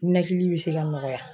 Ninakili bi se ka nɔgɔya